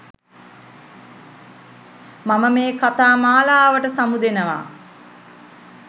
මම මේ කතා මාලාවට සමුදෙනවා